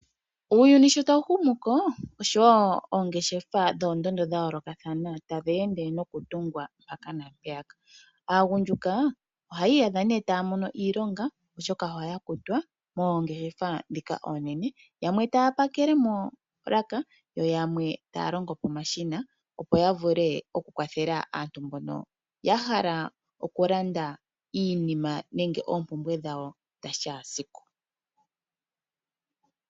Uuyuni shotawu humuko osho woo ongeshefa dhoondondo dhayooloka tadhi ende nokutungwa mpoka naampoka. Aagundjuka ohayi iyadha nee taya mono iilonga oshoka ohaya kutwa moongeshefa oonene ndhika oonene yamwe taapakele moolaka yoyamwe taya longo pomashina opo yavule okukwathela aanegumbo nokulanda oompumbwe dhawo dhakeshe esiku.